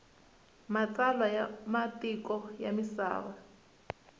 matsalwa ya matiko ya misava